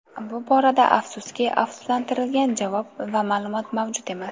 Bu borada, afsuski, asoslantirilgan javob va ma’lumot mavjud emas.